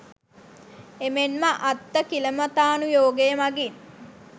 එමෙන්ම අත්තකිලමථානු යෝගය මඟින්